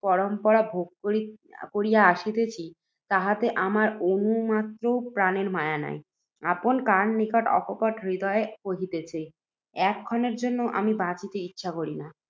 দুঃখপরম্পরা ভোগ করিয়া আসিতেছি, তাহাতে আমার অণুমাত্রও প্রাণের মায়া নাই। আপনকার নিকট অকপট হৃদয়ে কহিতেছি, এক ক্ষণের জন্যেও আমি বাঁচিতে ইচ্ছা করি না।